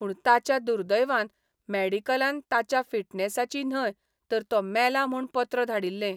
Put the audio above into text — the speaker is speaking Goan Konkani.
पूण ताच्या दुर्दैवान मॅडिकलान ताच्या फिटनेसाची न्हय तर तो मेला म्हूण पत्र धाडिल्लें.